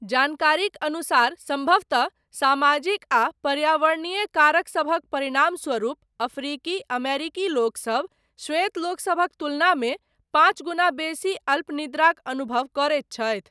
जानकारीक अनुसार, सम्भवतः सामाजिक आ पर्यावरणीय कारकसभक परिणामस्वरूप, अफ्रीकी अमेरिकी लोक सब, श्वेत लोकसभक तुलनामे, पाञ्च गुना बेसी, अल्पनिद्राक अनुभव करैत छथि।